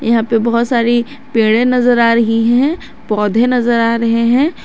यहां पर बहुत सारी पेड़े नजर आ रही हैं पौधे नजर आ रहे हैं।